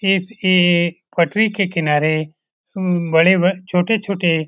इस ए पटरी के किनारे म बड़े छोटे-छोटे --